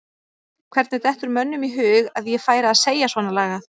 Hvernig dettur mönnum í hug að ég færi að segja svona lagað?